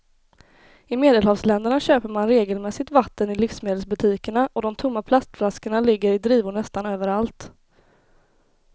I medelhavsländerna köper man regelmässigt vatten i livsmedelsbutikerna och de tomma plastflaskorna ligger i drivor nästan överallt.